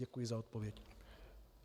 Děkuji za odpovědi.